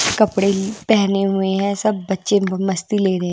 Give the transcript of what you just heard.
कपड़े पहने हुए हैं सब बच्चे मस्ती ले रहे हैं।